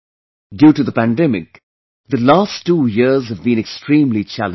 Due to the pandemic, the last two years have been extremely challenging